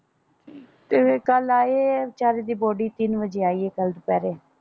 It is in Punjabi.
ਤੇ ਫੇਰ ਕੱਲ ਆਏ ਵਿਚਾਰੇ ਦੀ ਬੋਡੀ ਤਿੰਨ ਵਜੇ ਆਈ ਹੈ ਕੱਲ ਦੁਪਹਿਰੇ।